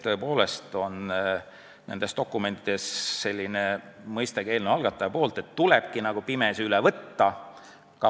Tõepoolest on nendes dokumentides ka eelnõu algataja poolt kirjas, et tulebki nagu pimesi üle võtta.